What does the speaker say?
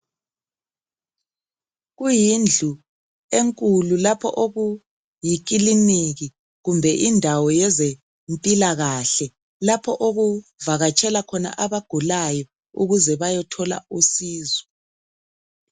Kuyindlu enkulu lapho okuyikiliniki kumbe indawo yezempilakahle lapho okuvakatshela khona abagulayo ukuze bayethola usizo.